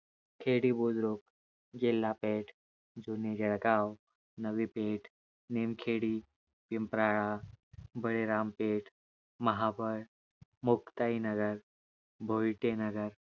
Khedi Budruk, Jilha Peth, Juni Jalgaon, Navi Peth, Nimkhedi, Pimprala, Bali Rampeth, Mahabal, Muktai Nagar, Bhoite Nagar